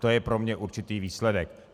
To je pro mne určitý výsledek.